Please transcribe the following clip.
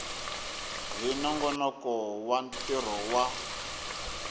hi nongonoko wa ntirho wa